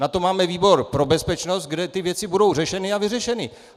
Na to máme výbor pro bezpečnost, kde ty věci budou řešeny a vyřešeny!